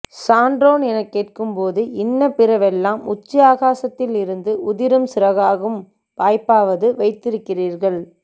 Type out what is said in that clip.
சான்றோன் எனக் கேட்கும்போது இன்ன பிற வெல்லாம் உச்சி ஆகாசத்தில் இருந்து உதிரும் சிறகாகும் வாய்ப்பாவது வைத்திருக்கிறீர்கள்